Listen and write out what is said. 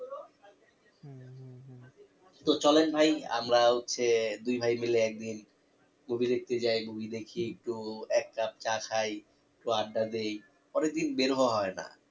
তো চলেন ভাই আমরা হচ্ছে দুই ভাই মিলে একদিন movie দেখতে চাই movie দেখে একটু এক cup চা খাই একটু আড্ডা দেয় অনেকদিন বের হওয়া হয়না